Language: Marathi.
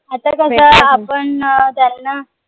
आपण अं त्यांना